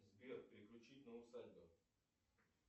сбер переключить на усадьба